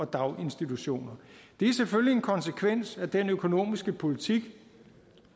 daginstitutioner det er selvfølgelig en konsekvens af den økonomiske politik